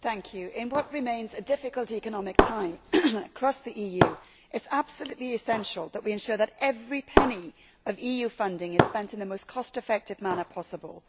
Mr President, in what remains a difficult economic time across the EU, it is absolutely essential that we ensure that every penny of EU funding is spent in the most cost effective manner possible.